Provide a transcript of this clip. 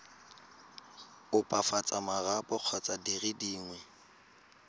opafatsa marapo kgotsa dire dingwe